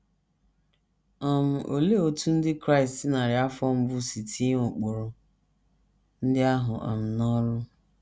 um Olee otú Ndị Kraịst narị afọ mbụ si tinye ụkpụrụ ndị ahụ um n’ọrụ?